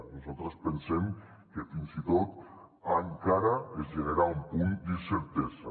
nosaltres pensem que fins i tot encara es genera un punt d’incertesa